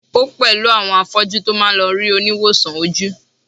o pẹlú àwọn afọju to ma lo ri oniwosan oju